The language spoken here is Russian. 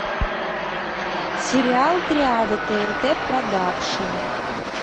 сериал триада тнт продакшн